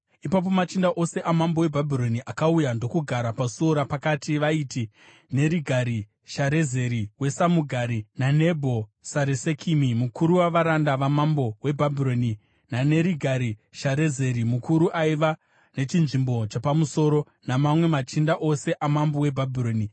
Ipapo machinda ose amambo weBhabhironi akauya ndokugara paSuo Rapakati, vaiti: Nerigari-Sharezeri weSamugari naNebho-Saresekimi mukuru wavaranda vamambo weBhabhironi, naNerigari-Sharezeri mukuru aiva nechinzvimbo chapamusoro, namamwe machinda ose amambo weBhabhironi.